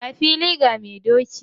Ga fili ga mai doki!